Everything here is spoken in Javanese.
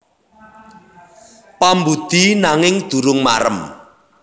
Pambudi nanging durung marem